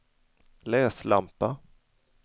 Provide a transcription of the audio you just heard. läslampa